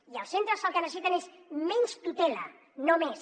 i els centres el que necessiten és menys tutela no més